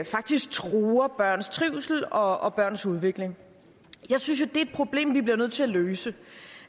faktisk truer børns trivsel og og børns udvikling jeg synes jo er et problem vi bliver nødt til at løse